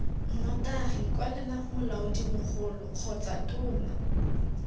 nnotagi kwalela molaodimogolo kgotsa tona